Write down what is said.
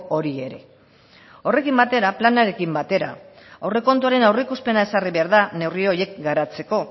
hori ere horrekin batera planarekin batera aurrekontuaren aurreikuspena ezarri behar da neurri horiek garatzeko